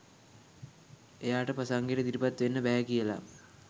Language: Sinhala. එයාට ප්‍රසංගයට ඉදිරිපත් වෙන්න බැහැ කියලා